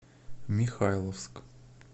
михайловск